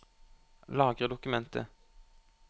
Lagre dokumentet